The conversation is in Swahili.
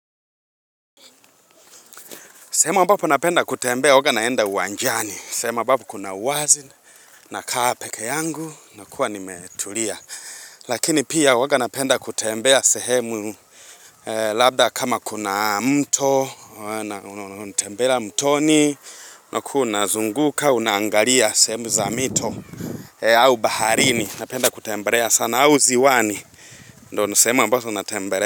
Sehemu ambapo napenda kutembea huwa naenda uwanjani sehemu ambapo kuna uwazi nakaa peke yangu nakuwa nimetulia Lakini pia waga napenda kutembea sehemu labda kama kuna mto Unatembea mtoni unakuwa unazunguka unaangalia sehemu za mito au baharini Napenda kutembelea sana au ziwani ni sehemu ambazo natembea.